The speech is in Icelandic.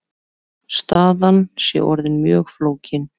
Staðan sé orðin mjög flókin.